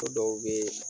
Ko dɔw bɛ yen